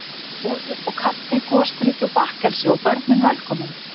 Var þar boðið uppá kaffi, gosdrykki og bakkelsi, og börnin velkomin.